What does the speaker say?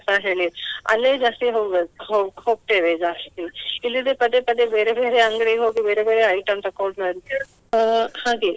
ಅಲ್ಲೇ ಜಾಸ್ತಿ ಹೋಗುವುದು ಹೋಗ್~ ಹೋಗ್ತೇವೆ ಜಾಸ್ತಿ. ಇಲ್ಲದಿದ್ರೆ ಪದೇ ಪದೇ ಬೇರೆ ಬೇರೆ ಅಂಗಡಿಗೆ ಹೋಗಿ ಬೇರೆ ಬೇರೆ item ತಗೊಂಡು ಅಹ್ ಹಾಗೆ.